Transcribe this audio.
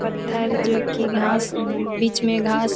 पत्थर जो की घास बीच मे घास --